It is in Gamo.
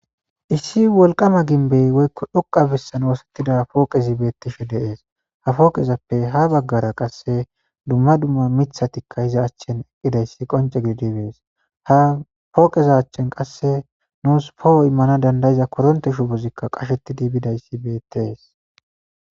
issi wolqama ginbey woykko dhuqa bissan woosettida pooqezi beettishe deees ha fooqezappe ha baggara qasse dumma dumma mithatikka hiza achchen eqqidayssi qonce gididibees ha pooqeza achchen qasse nuus poho immana dandayiza koronte shubuzikka qashettidi bidayssi beettees